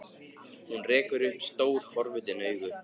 Hún rekur upp stór, forvitin augu.